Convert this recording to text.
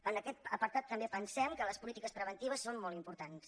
en aquest apartat també pensem que les polítiques preventives són molt importants